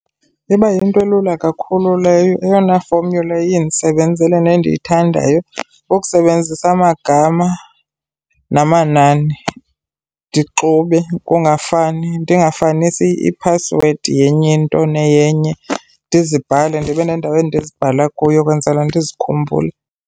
Iba yinto elula kakhulu leyo eyona formula iye indisebenzele nendiyithandayo kukusebenzisa amagama namanani ndixube kungafani, ndingafanisi iphasiwedi yenye into neyenye. Ndizibhale, ndibe nendawo endizibhala kuyo kwenzela ndizikhumbule.